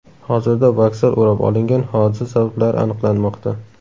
Hozirda vokzal o‘rab olingan, hodisa sabablari aniqlanmoqda.